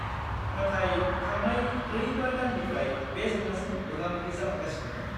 नाथाय थांनाय 4-5 दाननिफ्राय बे जेंनाजों मोगामोगि जानांगासिनो दं।